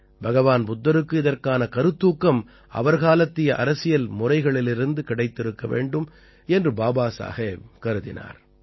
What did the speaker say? பகவான் புத்தருக்கு இதற்கான கருத்தூக்கம் அவர் காலத்திய அரசியல் முறைகளிலிருந்து கிடைத்திருக்க வேண்டும் என்று பாபாசாஹேப் கருதினார்